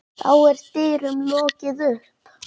Þá er dyrum lokið upp.